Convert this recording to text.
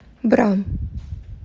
бра